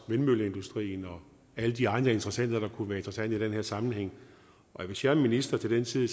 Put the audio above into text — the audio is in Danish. vindmølleindustrien og alle de andre interessenter der kunne være interessante i den her sammenhæng hvis jeg er minister til den tid